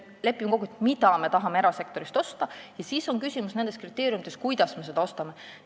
Meil tuleb kokku leppida, mida me tahame erasektorist osta, ja siis on küsimus nendes kriteeriumites, kuidas me ostame.